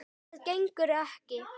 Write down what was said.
Það gengur ekki!